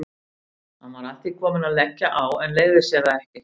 Hann var að því kominn að leggja á en leyfði sér það ekki.